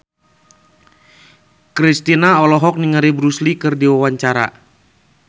Kristina olohok ningali Bruce Lee keur diwawancara